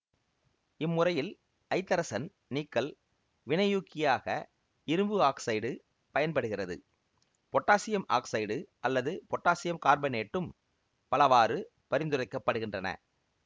இம்முறையில் ஐதரசன் நீக்கல் வினையூக்கியாக இரும்பு ஆக்சைடு பயன்படுகிறது பொட்டாசியம் ஆக்சைடு அல்லது பொட்டாசியம் கார்பனேட்டும் பலவாறு பரிந்துரைக்கப்படுகின்றன